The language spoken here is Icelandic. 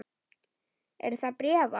Er það bréfað?